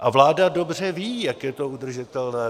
A vláda dobře ví, jak je to udržitelné.